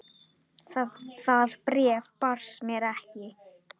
Það bréf barst mér ekki!